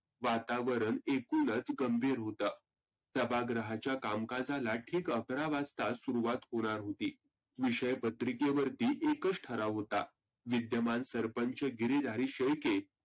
वातावरन एकुणचं गंभीर होत सभागृहाच्या कामकाजाला ठिक अकरा वाजता सुरवात होणार होती. विषय पत्रिके वरती एकच ठराव होता. विद्यमान सरपंच गिरीधारी शेळके